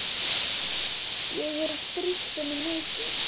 Ég hefi strítt honum mikið.